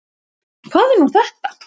Hvað er nú þetta?